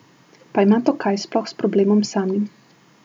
Pa ima to kaj sploh s problemom samim?